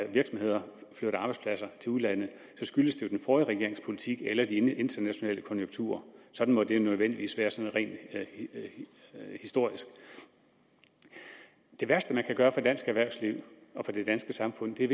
virksomheder flytter arbejdspladser til udlandet skyldes det jo den forrige regerings politik eller de internationale konjunkturer sådan må det nødvendigvis være sådan rent historisk det værste man kan gøre for dansk erhvervsliv og for det danske samfund er